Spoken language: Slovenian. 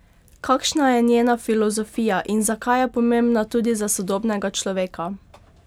Kakšna je njena filozofija in zakaj je pomembna tudi za sodobnega človeka?